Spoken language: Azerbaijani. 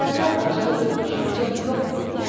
səndən başqa bir düşüncəm yox bu gün.